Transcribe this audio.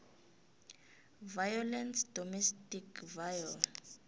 violence domestic viol